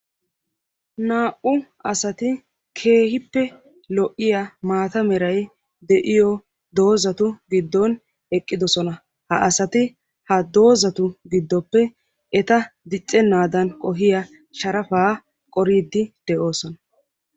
naa"u assati keehippe lo"iyaa maatta meray de"iyoo doozzatu gidoni eqidossona ha assati ha oozzatu gidoppe etta diccenaadani qohiyaa sharaffa qoriidi de"oosona.